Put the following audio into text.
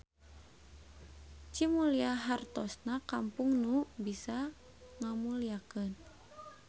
Cimulya hartosna kampung nu bisa ngamulyakeun.